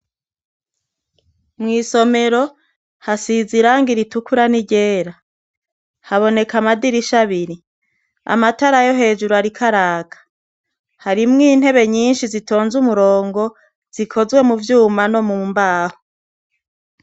Mw'isomero hasize irangi ritukura ni ryera. Haboneka amadirisha abiri. Amatara yo hejuru arik'araka. Harimwo intebe nyinshi zitonze umurongo zikozwe mu vyuma no mu mbaho.